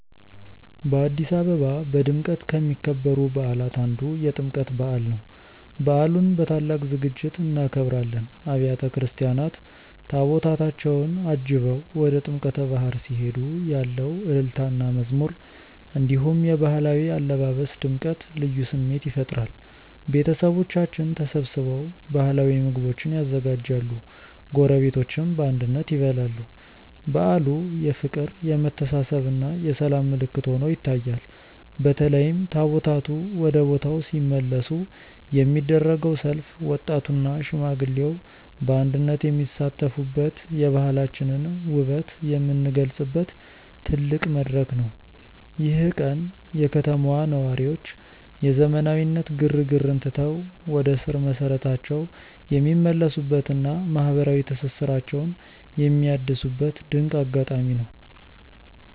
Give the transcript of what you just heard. በአዲስ አበባ በድምቀት ከሚከበሩ በዓላት አንዱ የጥምቀት በዓል ነው። በዓሉን በታላቅ ዝግጅት እናከብራለን። አብያተ ክርስቲያናት ታቦታታቸውን አጅበው ወደ ጥምቀተ ባሕር ሲሄዱ ያለው እልልታና መዝሙር፣ እንዲሁም የባህላዊ አለባበስ ድምቀት ልዩ ስሜት ይፈጥራል። ቤተሰቦቻችን ተሰብስበው ባህላዊ ምግቦችን ያዘጋጃሉ፤ ጎረቤቶችም በአንድነት ይበላሉ። በዓሉ የፍቅር፣ የመተሳሰብና የሰላም ምልክት ሆኖ ይታያል። በተለይም ታቦታቱ ወደ ቦታው ሲመለሱ የሚደረገው ሰልፍ ወጣቱና ሽማግሌው በአንድነት የሚሳተፉበት፣ የባህላችንን ውበት የምንገልጽበት ትልቅ መድረክ ነው። ይህ ቀን የከተማዋ ነዋሪዎች የዘመናዊነት ግርግርን ትተው ወደ ስር መሰረታቸው የሚመለሱበትና ማህበራዊ ትስስራቸውን የሚያድሱበት ድንቅ አጋጣሚ ነው።